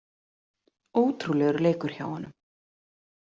Ótrúlegur leikur hjá honum